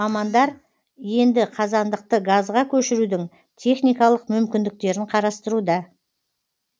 мамандар енді қазандықты газға көшірудің техникалық мүмкіндіктерін қарастыруда